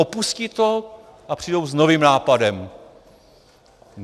Opustí to a přijdou s novým nápadem!